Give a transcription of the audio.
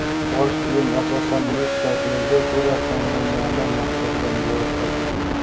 Bosh kiyim asosan yuz shakliga ko‘ra tanlangani maqsadga muvofiq.